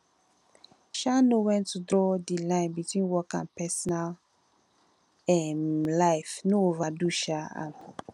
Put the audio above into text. um know when to draw di line between work and personal um life no overdo um am